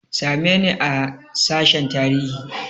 Same ni a sashen tarihi!